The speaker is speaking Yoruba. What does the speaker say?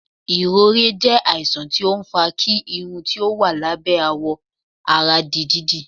ìrorẹ jẹ àìsàn tí ọ ń fà kí Irún tí ó wà lábẹ́ àwọ àrà dí dídí